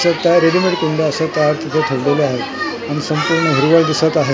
दिसत आहे असं रेडीमेड कुंड्या असं तार तिथे ठेवलेल्या आहे आणि संपूर्ण हिरवळ दिसत आहे .